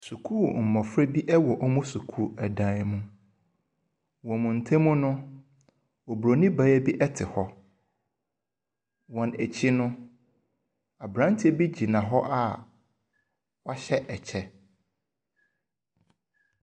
Sukuu mmofra bi wɔ wɔn sukuu dan mu. Wɔn ntam no, Oburoni baa bi te hɔ. Wɔn akyi no, abranteɛ bi gyina hɔ a wɔahyɛ ɛkyɛ.